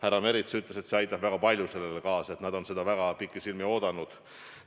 Härra Merits ütles, et see aitab väga palju sellele kaasa, et nad on seda pikisilmi oodanud.